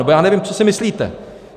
Nebo já nevím, co si myslíte.